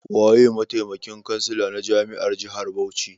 Waye mataimakin kansila na jami'ar jihar Bauchi?